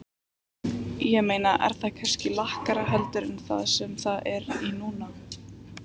Ég meina er það kannski lakara heldur en það sem það er í núna?